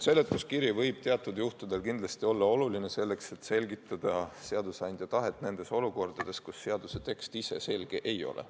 Seletuskiri võib teatud juhtudel kindlasti olla oluline, selleks et selgitada seadusandja tahet nendes olukordades, kus seaduse tekst ise selge ei ole.